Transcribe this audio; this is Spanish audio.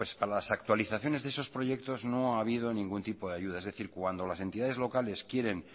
a las actualizaciones de esos proyectos no ha habido ningún tipo de ayuda es decir cuando las entidades locales quieren